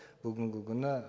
бүгінгі күні